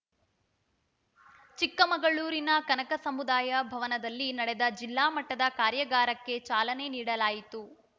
ಚಿಕ್ಕಮಗಳೂರಿನ ಕನಕ ಸಮುದಾಯ ಭವನದಲ್ಲಿ ನಡೆದ ಜಿಲ್ಲಾ ಮಟ್ಟದ ಕಾರ್ಯಾಗಾರಕ್ಕೆ ಚಾಲನೆ ನೀಡಲಾಯಿತು